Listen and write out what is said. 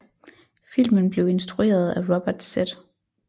Filmen blev instrueret af Robert Z